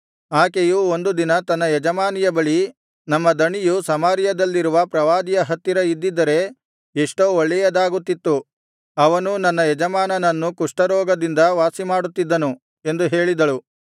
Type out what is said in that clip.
ಆಕೆಯು ಒಂದು ದಿನ ತನ್ನ ಯಜಮಾನಿಯ ಬಳಿ ನಮ್ಮ ದಣಿಯು ಸಮಾರ್ಯದಲ್ಲಿರುವ ಪ್ರವಾದಿಯ ಹತ್ತಿರ ಇದ್ದಿದ್ದರೆ ಎಷ್ಟೋ ಒಳ್ಳೆಯದಾಗುತ್ತಿತ್ತು ಅವನು ನನ್ನ ಯಜಮಾನನನ್ನು ಕುಷ್ಠರೋಗದಿಂದ ವಾಸಿಮಾಡುತ್ತಿದ್ದನು ಎಂದು ಹೇಳಿದಳು